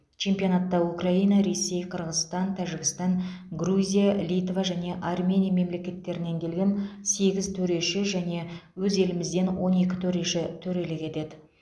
чемпионатта украина ресей қырғызстан тәжікстан грузия литва және армения мемлекеттерінен келген сегіз төреші және өз елімізден он екі төреші төрелік етеді